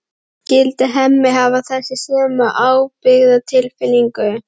Skyldi Hemmi hafa þessa sömu ábyrgðartilfinningu?